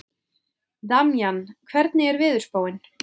Damjan, hvernig er veðurspáin?